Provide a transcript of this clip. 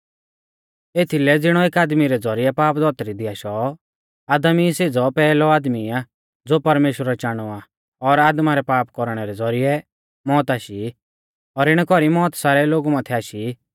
एथीलै ज़िणौ एकी आदमी रै ज़ौरिऐ पाप धौतरी दी आशौ आदम ई सेज़ौ पैहलौ आदमी आ ज़ो परमेश्‍वरै चाणौ आ और आदमा रै पाप कौरणै रै ज़ौरिऐ मौत आशी और इणै कौरी मौत सारै लोगु माथै आशी एथीलै कि सौभीऐ पाप कियौ